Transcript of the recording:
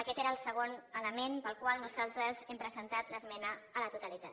aquest era el segon element pel qual nosaltres hem presentat l’esmena a la totalitat